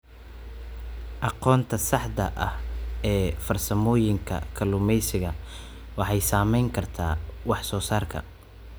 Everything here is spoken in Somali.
Aqoonta saxda ah ee farsamooyinka kalluumeysiga waxay saameyn kartaa wax soo saarka.